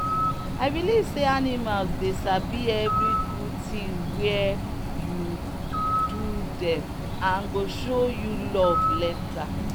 i believe say animals dey sabi every good thing were you do them and go show you love later.